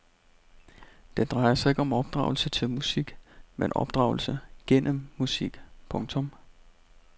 Det drejer sig ikke om opdragelse til musik men opdragelse gennem musik. punktum